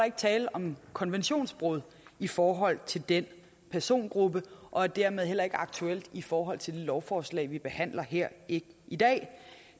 ikke tale om konventionsbrud i forhold til den persongruppe og dermed heller ikke aktuelt i forhold til det lovforslag vi behandler her i i dag